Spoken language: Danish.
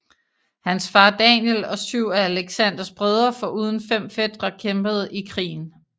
Hans far Daniel og syv af Alexanders brødre foruden fem fætre kæmpede i krigen